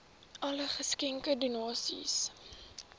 alle geskenke donasies